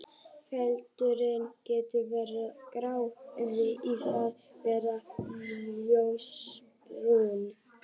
Feldurinn getur verið grár yfir í það að vera ljósbrúnn.